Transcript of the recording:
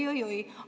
Oi-oi-oi!